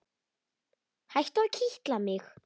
Hættu að kitla mig.